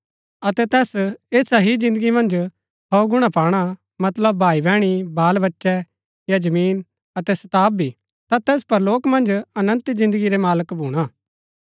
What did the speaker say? अतै तैस ऐसा ही जिन्दगी मन्ज सौ गुणा पाणा मतलब भाई बैहणी बाल बच्चै या जमीन अतै सताव भी ता तैस परलोक मन्ज अनन्त जिन्दगी रै मालक भूणा